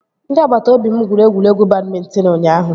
Ndị agbata obi m gwuru egwuregwu badmịntịn ụnyaahụ